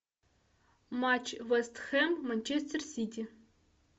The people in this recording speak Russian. матч вест хэм манчестер сити